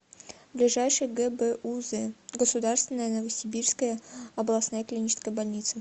ближайший гбуз государственная новосибирская областная клиническая больница